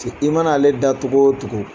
i mana ale da cogo o cogo.